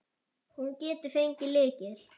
Hún getur fengið lykil.